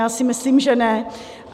Já si myslím, že ne.